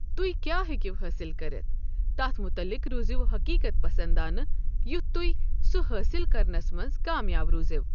تہۍ کیٛاہ ہیٚکِو حٲصِل کٔرِتھ، تَتھ مُتعلِق روزِو حقیت پَسندانہٕ یُتھ تُہۍ سُہ حٲصِل کرنس منٛز کامیاب روزِو۔